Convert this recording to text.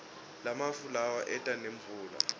lamafu lawa eta nemvula